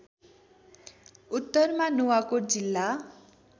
उत्तरमा नुवाकोट जिल्ला